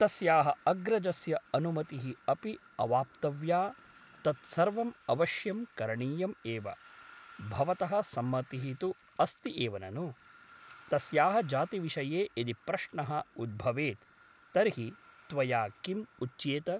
तस्याः अग्रजस्य अनुमतिः अपि अवाप्तव्या तत्सर्वम् अवश्यं करणीयम् एव । भवतः सम्मतिः तु अस्ति एव ननु ? तस्याः जातिविषये यदि प्रश्नः उद्भवेत् तर्हि त्वया किम् उच्येत ?